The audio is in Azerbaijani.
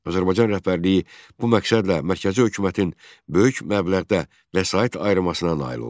Azərbaycan rəhbərliyi bu məqsədlə mərkəzi hökumətin böyük məbləğdə vəsait ayırmasına nail oldu.